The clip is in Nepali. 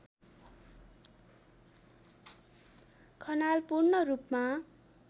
खनाल पूर्णरूपमा